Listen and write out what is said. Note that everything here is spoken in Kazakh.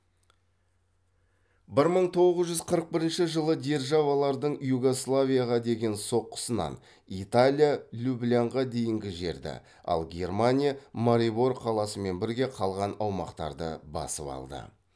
бір мың тоғыз жүз қырық бірінші жылы державалардың югославияға деген соққысынан италия люблянға дейінгі жерді ал германия марибор қаласымен бірге қалған аумақтарды басып алды